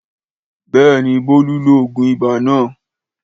Béèni, Bolu lo òògùn ibà lànà.